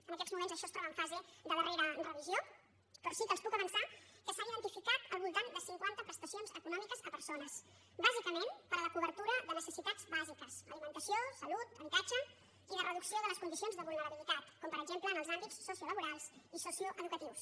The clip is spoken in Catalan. en aquests moments això es troba en fase de darrera revisió però sí que els puc avançar que s’han identificat al voltant de cinquanta prestacions econòmiques a persones bàsicament per a la cobertura de necessitats bàsiques alimentació salut habitatge i de reducció de les condicions de vulnerabilitat com per exemple en els àmbits sociolaborals i socioeducatius